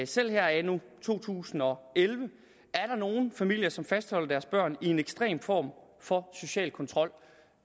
selv her anno to tusind og elleve er der nogle familier der fastholder deres børn i en ekstrem form for social kontrol